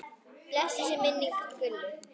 Blessuð sé minning Gullu.